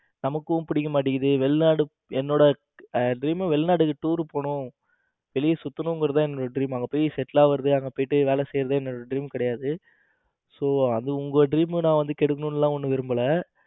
எனக்கும் பிடிக்க மாட்டேங்குது வெளிநாடு என்னோட dream வெளிநாட்டுக்கு tour போகணும் வெளிய சுத்தணும்ங்கிறது தான் என்னோட dream அங்க போய் settle ஆகிறது, அங்க போய் வேலை செய்யறது என்னோட dream கிடையாது so அது உங்க dream கெடுக்கணும் எல்லாம் ஒன்னும் விரும்பல